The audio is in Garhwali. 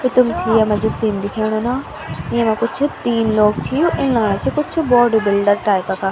तो तुम्थे यम्मा जू सीन दिखेणु न येमा कुछ तीन लोग छी इन लगणा छिन कुछ बॉडी बिल्डर टाइप का।